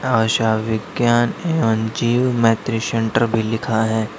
आशा विज्ञान एवं जीव मैत्री सेंटर भी लिखा है।